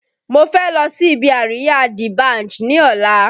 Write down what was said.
Mo fẹ́ lọ sí ibi àríyá D Banj ní ọ̀la